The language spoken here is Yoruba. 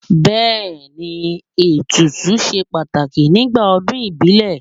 Bẹẹni, ètùtù ṣe pàtàkì nígbà ọdún ìbílẹ̀.